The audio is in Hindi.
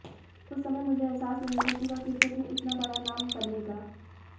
उस समय मुझे एहसास नहीं था कि वह क्रिकेट में इतना बड़ा नाम बनेगा